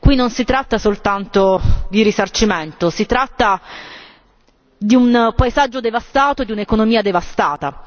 Qui non si tratta soltanto di risarcimento, si tratta di un paesaggio devastato, di un'economia devastata.